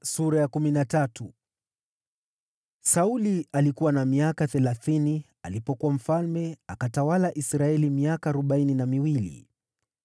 Sauli alikuwa na miaka thelathini, alipokuwa mfalme, akatawala Israeli miaka arobaini na miwili.